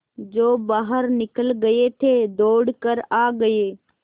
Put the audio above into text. जो बाहर निकल गये थे दौड़ कर आ गये